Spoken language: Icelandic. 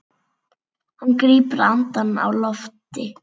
Hann grípur andann á lofti.